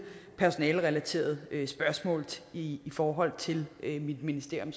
personalerelaterede spørgsmål i forhold til mit ministerium